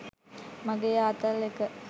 මගේ ආතල් එක